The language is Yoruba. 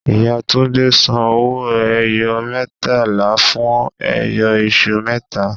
Ìyá Túndé ń san owó-ẹyọ mẹẹtàlá fún ẹyọ iṣu mẹta